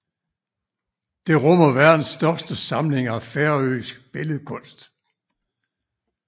Det rummer verdens største samling af færøsk billedkunst